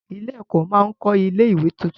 Ilé-ẹ̀kọ́ máa kọ́ ilé-ìwé tuntun.